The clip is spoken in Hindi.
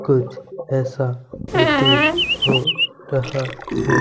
कुछ ऐसा प्रतीत हो रहा है।